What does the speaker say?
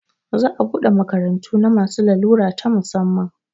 Za a buɗe makarantu na masu larura ta musamman